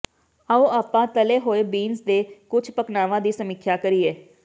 ਆਓ ਆਪਾਂ ਤਲੇ ਹੋਏ ਬੀਨਜ਼ ਦੇ ਕੁਝ ਪਕਵਾਨਾਂ ਦੀ ਸਮੀਖਿਆ ਕਰੀਏ